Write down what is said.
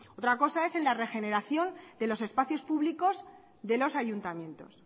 otra cosa es en la regeneración de los espacios públicos de los ayuntamientos